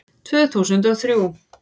Tvö þúsund og þrjú